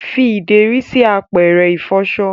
fí ideri sí àpẹrẹ ifọṣọ